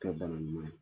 Kɛ bana ɲuman ye